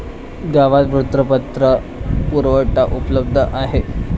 गावात वृत्तपत्र पुरवठा उपलब्ध आहे.